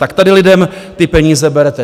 Tak tady lidem ty peníze berete.